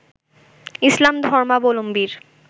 ইসলাম ধর্মাবলম্বীর